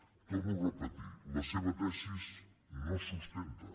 ho torno a repetir la seva tesi no es sustenta